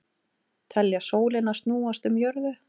Telja sólina snúast um jörðu